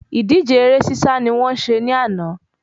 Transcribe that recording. Ìdíje eré sísá ni wọ́n ṣe ní àná